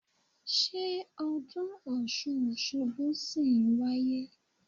Ṣé ọdún Ọ̀ṣun Òṣogbo ṣì ń wáyé?